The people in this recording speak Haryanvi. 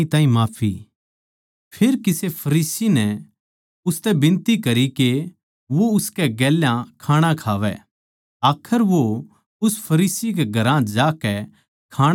फेर किसे फरीसी नै उसतै बिनती करी के वो उसकै गेल्या खाणा खावै आखर वो उस फरीसी कै घरां जाकै खाणा खाण बैठ्या